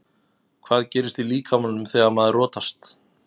Hvað gerist í líkamanum þegar maður rotast?